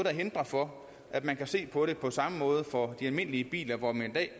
hinder for at man kan se på det på samme måde for de almindelige biler hvor man i dag